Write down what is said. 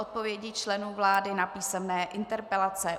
Odpovědi členů vlády na písemné interpelace